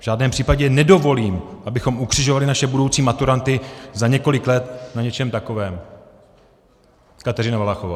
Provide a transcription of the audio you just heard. V žádném případě nedovolím, abychom ukřižovali naše budoucí maturanty za několik let na něčem takovém, Kateřino Valachová.